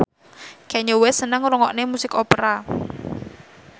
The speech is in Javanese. Kanye West seneng ngrungokne musik opera